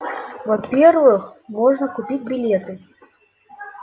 во-первых можно купить билеты